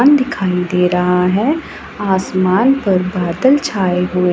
आन दिखाई दे रहा है आसमान पर बादल छाए हुए--